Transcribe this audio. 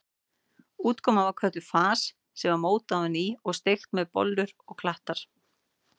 Útkoman var kölluð fars sem var mótað á ný og steikt sem bollur eða klattar.